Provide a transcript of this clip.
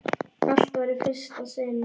Allt var í fyrsta sinn.